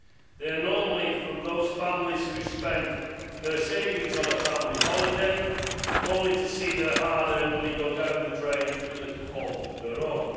They are normally from those families who spend their savings on a family holiday, only to see their hard earned money go down the drain through little fault of their own.